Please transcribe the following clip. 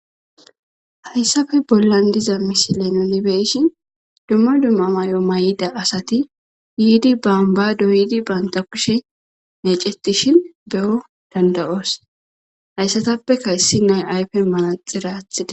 Hayssafe bollan diza mishile nonibeyshin dumma dumma may7o may7ida asati giidi bamba doyidi banta kushe meecettishin be7o dandayoos hayssatappe kayssi nay ayfe maaxiraathide